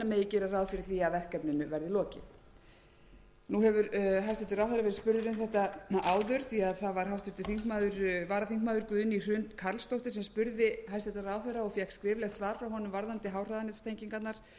gera ráð fyrir að verkefninu verði lokið nú hefur hæstvirtur ráðherra verið spurður um þetta áður því að það var háttvirtur varaþm guðný hrund karlsdóttir sem spurði hæstvirtur ráðherra og fékk skriflegt svar frá honum varðandi háhraðanettengingarnar og